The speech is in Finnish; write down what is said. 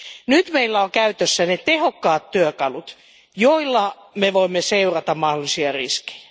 Nyt meillä on käytössämme tehokkaat työkalut, joilla me voimme seurata mahdollisia riskejä.